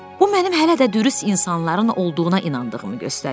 Bu mənim hələ də dürüst insanların olduğuna inandığımı göstərir.